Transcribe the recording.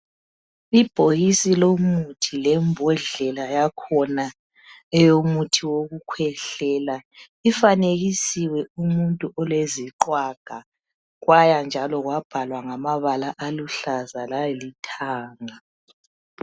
Ibhokisi lomuthi lembodlela yakhona eyomuthi wokukhwehlela. Ifanekisiwe umuntu oleziqhwaga kwaya njalo kwabhalwa ngamabala aluhlaza lalithanga.